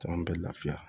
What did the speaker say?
Caman bɛ lafiya